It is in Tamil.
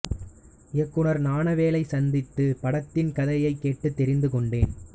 இயக்குனர் ஞானவேலைச் சந்தித்து படத்தின் கதையைத் கேட்டுத் தெரிந்து கொண்டேன்